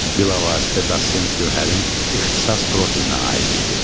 Bilavasitə Dosent Gövhərin ixtisas profilinə aid idi.